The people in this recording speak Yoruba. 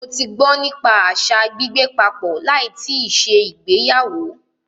Mó tí gbọ́ nípa àṣa gbígbé papọ̀ láì tíì ṣe ìgbéyàwó.